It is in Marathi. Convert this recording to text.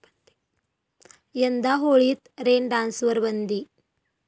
यंदा होळीत रेन डान्सवर बंदी